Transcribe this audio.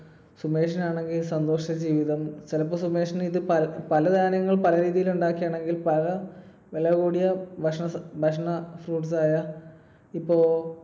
സുമേഷിനാണെങ്കിൽ സന്തുഷ്ട ജീവിതം. ചിലപ്പോൾ സുമേഷിന് ഇത് പല സാധനങ്ങൾ പല രീതിയിൽ ഉണ്ടാക്കുകയാണെങ്കിൽ, പല വില കൂടിയ ഭക്ഷണ~ഭക്ഷണ fruits ആയ ഇപ്പൊ